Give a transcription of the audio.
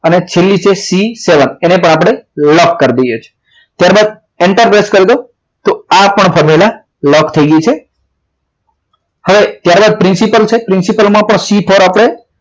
અને છેલ્લે છે c seven એને પણ આપણે લોક કરી દે છે ત્યારબાદ enterprice કરી દો તો આ પણ formula લોક થઈ ગઈ છે હવે ત્યારબાદ principal છે principal માં પણ C four